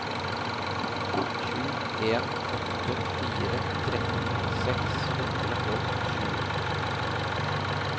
sju en åtte fire tretten seks hundre og sju